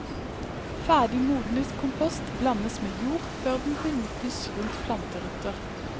Ferdig modnet kompost blandes med jord før den benyttes rundt planterøtter.